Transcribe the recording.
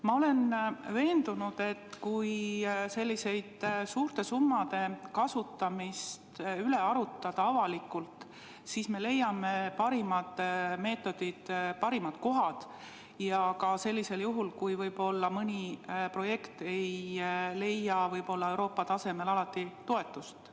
Ma olen veendunud, et kui selliste suurte summade kasutamist arutada avalikult, siis me leiame parimad meetodid, õigeimad kohad, ja seda ka juhul, kui mõni projekt ei leia Euroopa tasemel toetust.